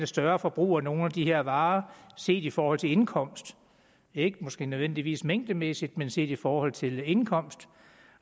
større forbrug af nogle af de her varer set i forhold til indkomst ikke nødvendigvis mængdemæssigt men set i forhold til indkomst